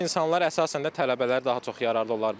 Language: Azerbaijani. İnsanlar əsasən də tələbələr daha çox yararlı olar bu.